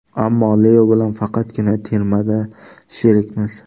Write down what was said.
Ammo Leo bilan faqatgina termada sherikmiz.